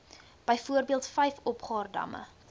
byvoorbeeld vyf opgaardamme